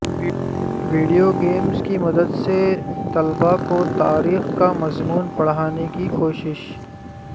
video games کی مدد سے طلبہ کو تاریخ کا مضمون پڑھانے کی کوشش